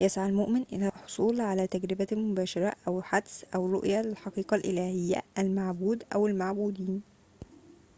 يسعى المؤمن إلى الحصول على تجربة مباشرة، أو حدس، أو رؤية للحقيقة الإلهية/المعبود أو المعبودين